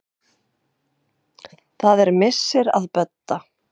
Það er missir að Bödda.